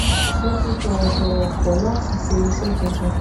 mo fi tòwòtòwò kò láti ṣe iṣé tuntun